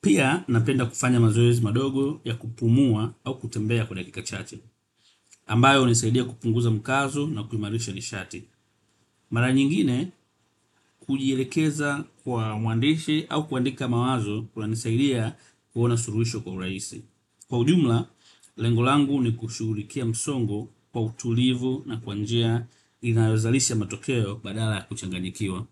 Pia napenda kufanya mazoezi madogo ya kupumua au kutembea kwa dakika chache ambayo hunisaidia kupunguza mkazo na kuimarisha nishati. Mara nyingine kujielekeza kwa muandishi au kuandika mawazo kunanisaidia kuona suluhisho kwa urahisi. Kwa ujumla, lengo langu ni kushughulikia msongo kwa utulivu na kwa njia inayozalishs matokeo badala ya kuchanganyikiwa.